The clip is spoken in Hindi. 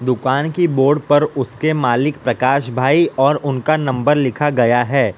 दुकान की बोर्ड पर उसके मालिक प्रकाश भाई और उनका नंबर लिखा गया है।